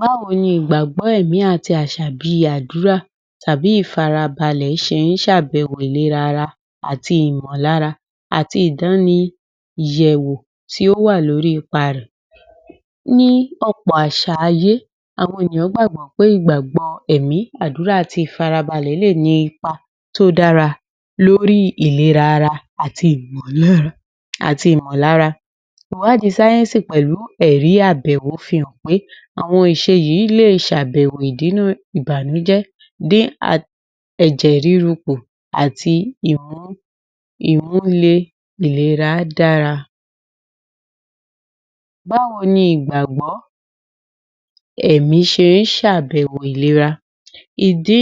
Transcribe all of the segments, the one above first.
Báwo ni ìgbàgbọ́ ẹ̀mi àti àṣ̀à bìi àdúrà tàbí ìfarabalẹ̀ ṣe ń ṣ’àbẹ̀wò ìlèrà ara àti ìmọ̀lára àti ìdániyẹ̀wò tí ó wà lórí ipa rẹ̀? Ní ọ̀pọ̀ àṣà ayé, àwọn èèyàn gbàgbọ́ pé ìgbàgbọ́ ẹ̀mí, àdúrà àti ìfarabalẹ̀ ní ipa tí ó dára lórí ìlera ara àti ìmọ̀lára. Ìwádìí sáyẹ́ńsì pẹ̀lu ẹ̀rí àbẹ̀wọ fi hạn pé àwọn ìṣe yìí le s’àbẹ̀wò ìdínà ibanújẹ́, dín ẹ̀jẹ̀ rúru kù àti ìmú-ìlera dara. Báwo ni ìgbàgbọ́ ẹ̀mí ṣe ń ṣ’àbẹ̀wò fún ìlera? Ìdí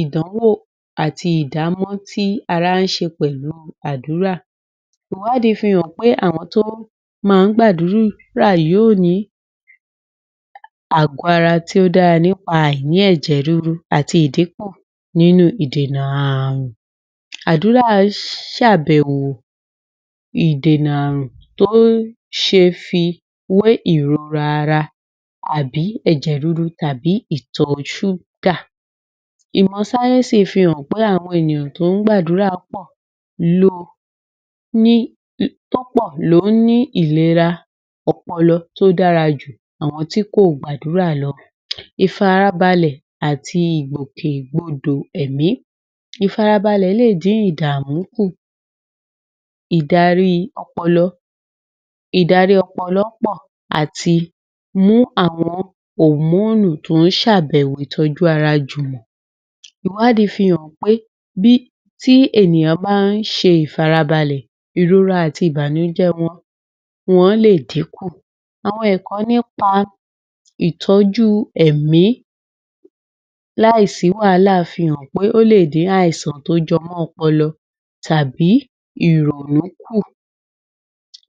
ìdánwò àti ìdámọ̀ tí ara ń ṣe pẹ̀lú adúra? Ìwádìí fi hàn pé àwọn tó máa ń gbàdúra yìí yóò ní agọ́ ara tí ó dára nípa àìní ẹ̀jẹ̀ rúru àti ìdínkù nínú ìdènà àrùn. Àdúrà ṣ’àbẹ̀wò ìdènà àrùn tí ó ṣeè fi wé ìrora ara tàbí ẹ̀jẹ̀ rúru tàbí ìtọ̀ ṣúgà. Ìmọ̀ sáyẹ́ńsì fi hàn pé àwọn ènìyàn tó ń gbàdúrà púpọ̀ ló ní ìlera ọpọlọ tó dára ju àwọn tí kò gbàdúrà lọ. Ìfarabalẹ̀ àti Ìgbòkègbodò Ẹ̀mí Ìfarabalẹ̀ lè dín ìdààmú kù, ìdarí ọpọlọ pò láti mú àwọn hòmóònù tó ń́ ṣ’àbẹ̀wò ìtọ́jú ara jùmọ̀. Ìwádìí fi hàn pé tí ènìyàn bá ń ṣe ìfarabalẹ̀, ìrora àti ìbànújẹ́ wọn lè dínkù. Àwọn ẹ̀kọ́ nípa ìtọ́jú ẹ̀mí láì sí wàhálà fi hàn pé ó lè dín àìsàn tó jẹ mọ́ ọpọlọ tàbí ìrònú kù.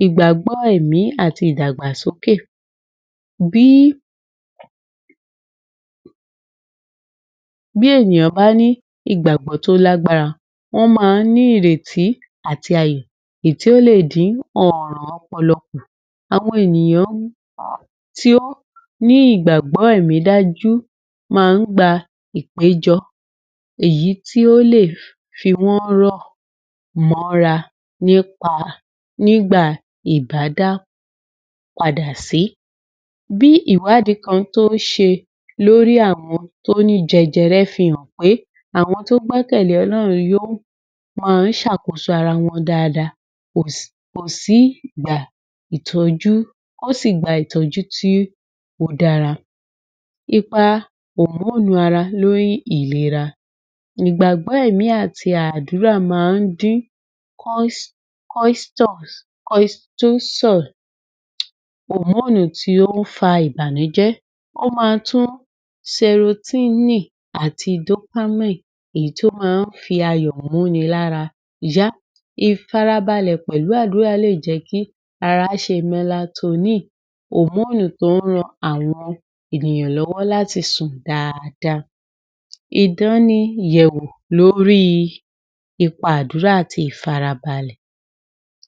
Ìgbàgbọ́ Ẹ̀mí àti Ìdàgbàsokẹ̀ Bí ènìyàn bá ní ìgbàgbọ́ tí ó l’ágbára, wọ́n máa ń ní ìrètí àti? tí ó lè dín ọ̀rọ̀ ọpọlọ kù. Àwọn ènìyàn tí ó ní ìgbàgbọ́ ẹ̀mí dájú máa ń gba ìpéjọ èyí tí ó lè fi wọ́n rọ̀ mọ́ra nígbà ìdágbàpadàsí. Bí ìwádìí kan tó ṣe lórí àwọn tó ní jẹjẹrẹ fi hàn pé àwọn tó gbẹ́kẹ̀ lé Ọlọ́run má ń ṣàkóso ara wọn dáadáa, wọn ó sì gba ìtọ́jú tí ó dára. Ipa Hòmóònù Ara lóri Ìlera Ìgbàgbọ́ ẹ̀mí àti àdúrà máa ń dín (cortisol), hòmóònù tí ó ń fa ìbànújẹ́, ó máa tún (serotonin) ati (dopamine), èyí tí ó má ń fi ayò múni lára yá. Ìfarabalẹ̀ pẹ̀lu àdúrà lè jẹ́ kí ara ṣe (melatonin), hòmóònù tó ń ran àwọn ènìyàn lọ́wọ́ láti sùn dáadáa. Ìdániyẹ̀wò lórí Ipa Àdúrà àti Ìfarabalẹ̀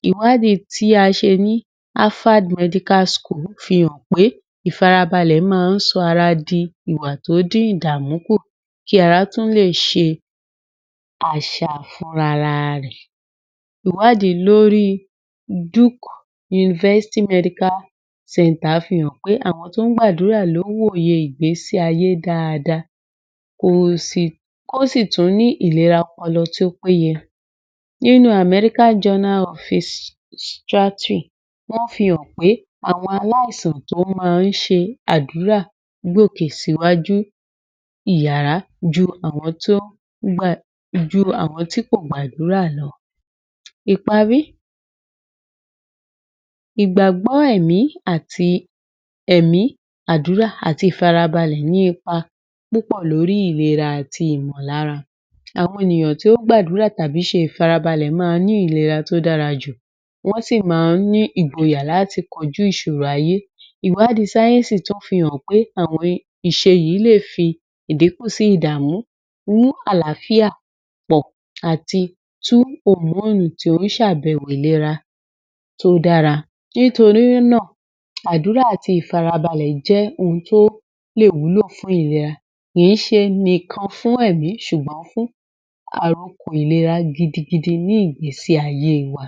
Ìwádìí tí a ṣe ní (Alpha Medical School) fi hàn pé ìfarabalẹ̀ máa ń sọ ara di ìwà tó dín ìdàmú kù kí ara tún lè ṣe? fúnrara rẹ̀. Ìwádìí lórí (Duke University Medical Centre) fi hàn pé àwọn tó ń gbàdúrà ló ń wòye ìgbésí ayé dáadáa, wọ́n sì tún ní ìlera ọpọlọ tó péye. Nínú (American Journal of ?), wọ́n fi hàn pé àwọn aláìsàn tó máa ń ṣe àdúrà gòkè síwájú ìyára ju àwọn tí kò gbàdúrà lọ. Ìparí, ìgbàgbọ́ ẹ̀mí, àdúrà àti ìfarabalẹ̀ ní ipa púpọ̀ lórí ìlera àti ìmọ̀lára. Àwọn ènìyàn tí ó gbadúra tàbí ṣe ìfarabalẹ̀ má ń ní ìlera tí ó dára jù, wọ́n sì máa ń ní ìgboyà láti kojú ìṣòro ayé. Ìwádìí sáyẹ́ńsì tún fi hàn pé àwọn ìṣe yìí lè fi ìdínkù sí ìdààmú, mú àlááfíà pọ̀ àti tú hòmóònù tó ń ṣ’àbẹ̀wọ ìlera tó dára. Nítorí náà, àdúrà àti ìfarabalẹ̀ jẹ́ ohun tó lè wúlò fún ìlera, kìí ṣe nìkan fún ẹ̀mí ṣùgbọ́n fún àrokò ìlera gidigidi ní ìgbésí ayé wa.